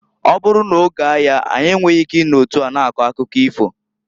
Ọ bụrụ n'oge aya anyị enweghi ike i no otu a na-akọ akụkọ ifo.